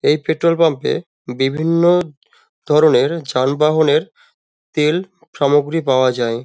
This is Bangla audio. এই পেট্রল পাম্প -এ বিভিন্ন ধরণের যানবহনের তেল সামগ্রী পাওয়া যায় ।